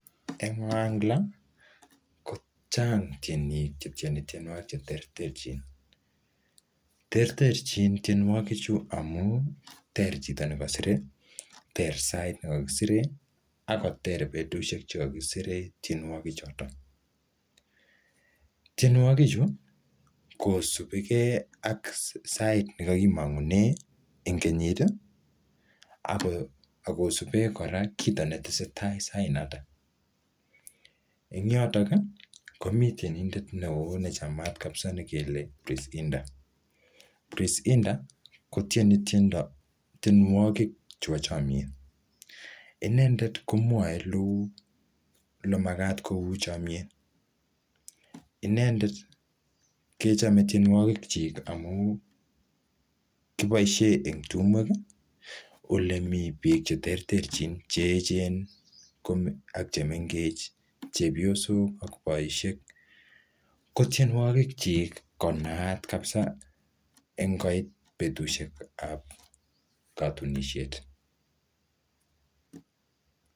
en ohangla ko chaang tyeniik chetyeni tyenwogik cheterterchiin, terterchiin tyenwogiik chu amuun teer chito negosire, teer saait negogisireen ak koteer betushek chegogisireen tyenwogik choton. Tyenwogiik chu kosubegee ak saait negagimonguneen en kenyiit iih ak kosubeen koraa kiit netesetai saait nooto , en yooton iih komii tyenineet neeoo nechamaat negele kristinda, kristinda kotyeni tyenwogiik chebo chomyeet, inendeet komwoee elemagaat kouu chomyeet, inendeet kechome tyenwoogik kyiik amuun kiboishen en tumweek iih olemii biik cheterterchin cheecheen ak chemengeech, chebyosook ak boisheek, ko tyenwogiik kyiik konaat kabisa ngoit betushek kotunisheet.